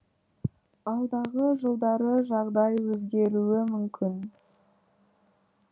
алдағы жылдары жағдай өзгеруі мүмкін